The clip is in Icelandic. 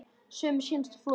Sumir sýnast á floti.